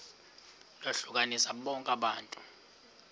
lohlukanise bonke abantu